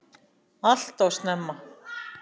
Alltof snemma.